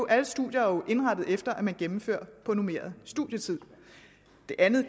alle studier er jo indrettet efter at man gennemfører på normeret studietid det andet